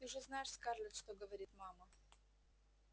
ты же знаешь скарлетт что говорит мама